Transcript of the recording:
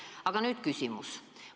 Aga nüüd küsimus.